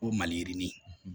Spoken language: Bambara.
O maliyirini